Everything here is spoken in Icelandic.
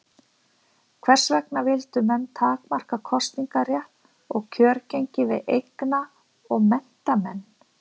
Hvers vegna vildu menn takmarka kosningarétt og kjörgengi við eigna- og menntamenn?